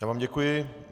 Já vám děkuji.